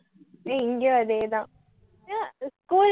இங்கயும் அதே தான் அஹ் school